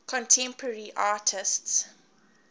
contemporary artists